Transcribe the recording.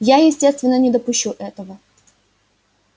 я естественно не допущу этого